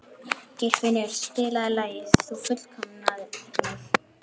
Geirfinnur, spilaðu lagið „Þú fullkomnar mig“.